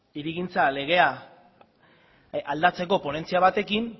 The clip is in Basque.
hirigintza legea aldatzeko ponentzia batekin